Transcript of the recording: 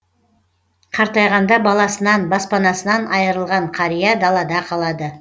қартайғанда баласынан баспанасынан айырылған қария далада қалады